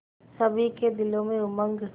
सभी के दिलों में उमंग